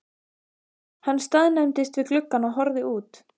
Hann staðnæmdist við gluggann og horfði út.